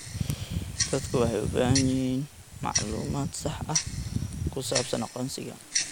Dadku waxay u baahan yihiin macluumaad sax ah oo ku saabsan aqoonsiga.